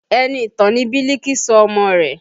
Enitan ni Biliki sọ ọmọ rẹ̀